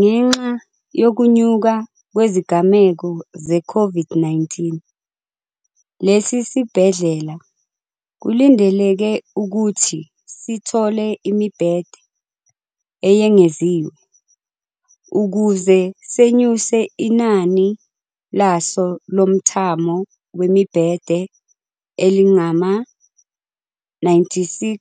Ngenxa yokunyuka kwezigameko ze-COVID-19, lesi sibhedlela kulindeleke ukuthi sithole imibhede eyengeziwe, ukuze senyuse inani laso lomthamo wemibhede elingama-96